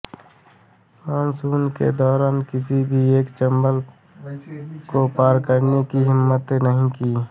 monsoon के दौरान किसी ने भी चम्बल को पार करने की हिम्मत नहीं की